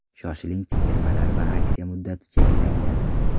Shoshiling, chegirmalar va aksiya muddati cheklangan!